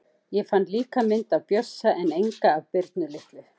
Ég fann líka mynd af Bjössa en enga af Birnu litlu.